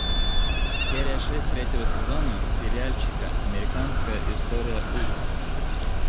серия шесть третьего сезона сериальчика американская история ужасов